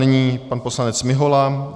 Nyní pan poslanec Mihola.